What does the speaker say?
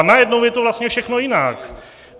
A najednou je to vlastně všechno jinak.